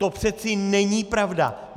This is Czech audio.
To přece není pravda.